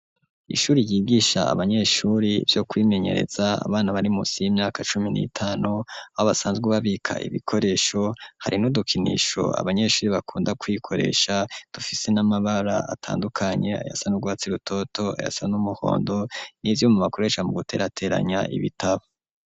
Ishuri ryigisha abanyeshuri vyo kwimenyereza abana barimusi y'imyaka cumi n'itanu ,aho basanzwe babika ibikoresho hari nudukinisho abanyeshuri bakunda kwikoresha ,dufise n'amabara atandukanye, ayasan urwatsi rutoto ,yasa n'umuhondo ,nivyuma bakoresha mu guterateranya ibitabo.